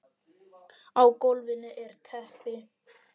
Á gólfinu er teppi.